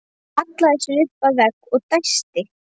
Hallaði sér upp að vegg og dæsti.